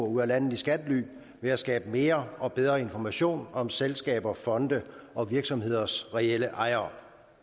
ud af landet i skattely ved at skabe mere og bedre information om selskaber fonde og virksomheders reelle ejere